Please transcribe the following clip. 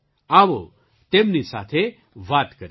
આવો તેમની સાથે વાત કરીએ